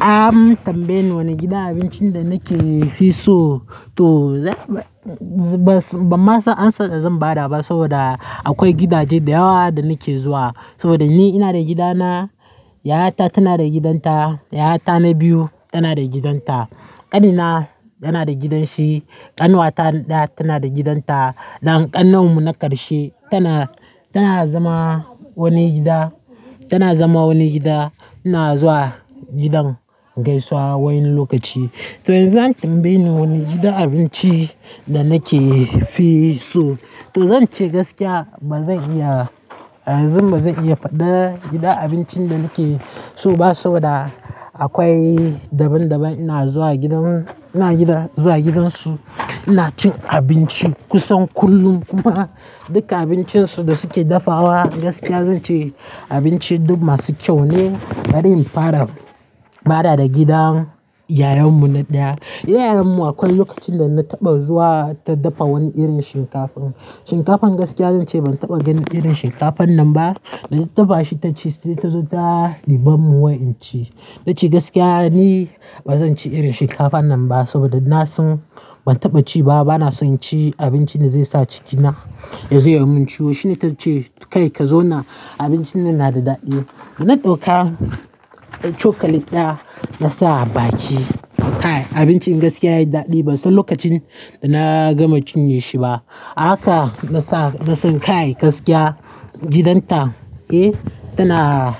Am tambaye ni wane gidan abincin da nake fi so to bamma san amsan da zan bada ba saboda akwai gidaje da yawa da nake zuwa. Saboda ni ina da gidana, yayata tana da gidanta, yayata na biyu tana da gidanta, ƙanina yana da gidanshi, ƙanuwata ɗaya tana da gidanta dan ƙanuwam mu na ƙarshe tana, tana zama wani gida, tana zama wani gida. Ina zuwa gidan gaisuwa wani lokaci. To yanzu an tambaye ni wane gidan abinci da nake fi so to zan ce gaskiya ba zan iya, a yanzu ba zan iya faɗa gidan abincin da nake so ba saboda akwai daban daban. Ina zuwa gidan, ina gida zuwa gidansu ina cin abinci kusan kullum kuma duka abincin su da suke dafawa gaskiya zan ce abinci duk masu kyau ne. Bari in fara fara da gidan yayammu na ɗaya. Yayarmu akwai lokacin da na taɓa zuwa ta dafa wani irin shinkafa. Shinkafan gaskiya zan ce ban taɓa ganin irin shinkafan nan ba. Da ta taɓa shi taci sai tazo ta ɗibammun wai in ci. Nace gaskiya ni bazan ci irin shinkafan nan ba saboda na san ban taɓa ci ba bana son ci abinci da zai sa cikina ya zai yi mun ciwo. Shine ta ce kai ka zo na abincin nan yana da daɗi. Da na ɗauka cokali ɗaya na sa a baki. Kai abincin gaskiya yayi daɗi ban san lokacin da na gama cinye shi ba. Haka nasan kai gaskiya gidanta eh tana,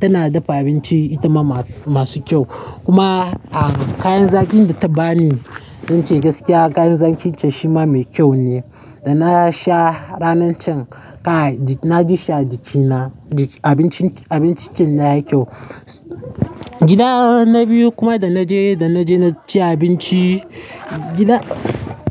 tana dafa abinci itama ma masu kyau. Kuma a kayan zakin da ta bani nace gaskiya kayan zakin ta shima mai kyau ne. Da na sha ranan can kai na ji sha jikina abincin, abincin nan yayi kyau. Gida na biyu kuma da naje, da naje na ci abinci gida.